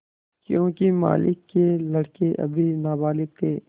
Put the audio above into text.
योंकि मालिक के लड़के अभी नाबालिग थे